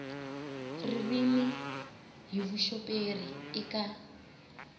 ririmi hi vuxoperi i ka